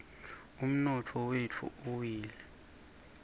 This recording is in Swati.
umnotfo wetfu uwile